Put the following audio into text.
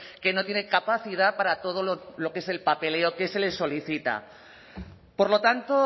que no tiene capacidad para todo lo que es el papeleo que se le solicita por lo tanto